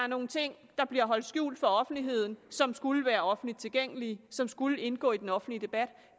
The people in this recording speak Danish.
nogle ting der bliver holdt skjult for offentligheden som skulle være offentligt tilgængelige som skulle indgå i den offentlige debat